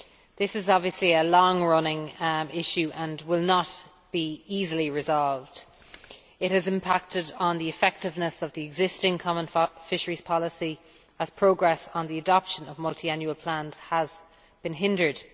This is obviously a long running issue and will not easily be resolved. It has impacted on the effectiveness of the existing Common Fisheries Policy as progress on the adoption of Multiannual Plans has been hindered.